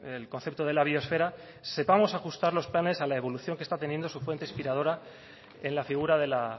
el concepto de la biosfera sepamos ajustar los planes a la evolución que está teniendo su fuente inspiradora en la figura de la